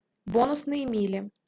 бонусные мили